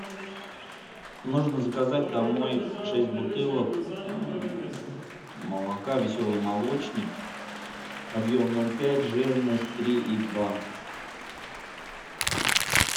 нужно заказать домой шесть бутылок молока веселый молочник объем ноль пять жирность три и два